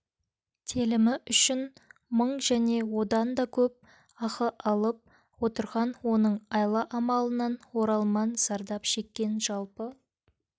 телімі үшін мың және одан дакөп ақы алып отырған оның айла-амалынан оралман зардап шеккен жалпы